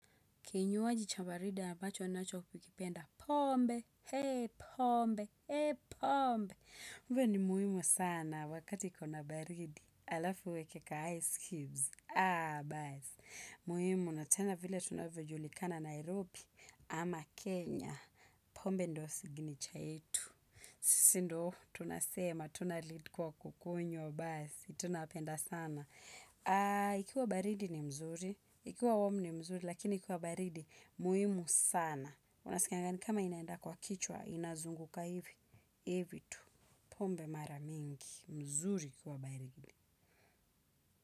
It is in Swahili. Kinywaji cha baridi ya ambacho ninacho kupikipenda, pombe, hee, pombe, hee, pombe. Uwe ni muhimu sana wakati kuna baridi, alafu weke ka ice cubes, aa, baas. Muhimu na tena vile tunavyo julikana Nairobi ama Kenya, pombe ndo signicha yetu. Sindo, tunasema, tunalid kwa kukunywa, basi, tunapenda sana. Ikiwa baridi ni mzuri. Ikiwa womu ni mzuri. Lakini ikiwa baridi muhimu sana unasikanga nikama inaenda kwa kichwa. Inazunguka hivi. Hivi tu pombe mara mingi mzuri ikiwa baridi.